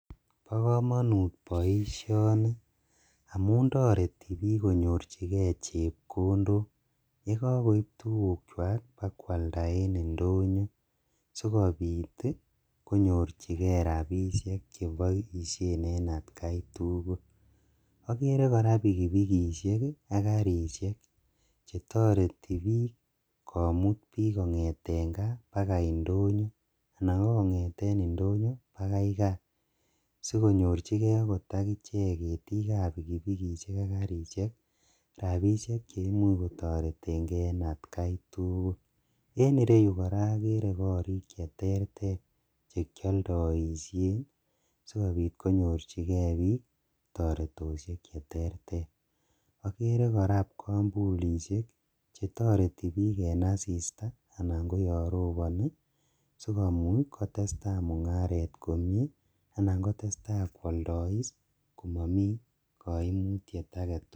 Bokomonut boishoni amuun toreti biik konyorchikee chepkondok yekokoib tukukwak ibakwalda en indonyo sikobiit konyorchikee rabishek cheboishen en atkai tukul, okeree kora pikipikishek ak karishek chetoreti biik komut biik bakaa indonyo anan ko kong'eten indonyo bakai kaa asikonyorchikee akot akichek ketiikab bpikipikishek ak karishek rabishek cheimuuch kotoreteng'e en atkai tukul, en ireyuu kora okeree korik cheterter chekioldoishen sikobiit konyorchikee biik toretoshek cheterter, okeree kora kipkombulishek chetoreti biik en asista anan koyoon roboni sikomuuch kotesta mung'aret komnyee anan kotesta kwoldois komomii koimutiet aketukul.